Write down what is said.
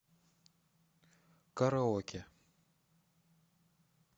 караоке